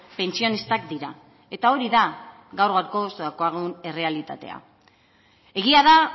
pentsionistak dira eta hori da gaur gaurkoz daukagun errealitatea egia da